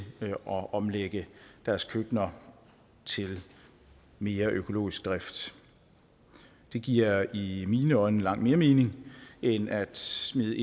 at omlægge deres køkkener til mere økologisk drift det giver i mine øjne langt mere mening end at smide